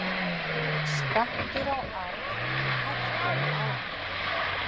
Skattur á arf hækkar um áramótin